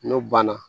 N'o banna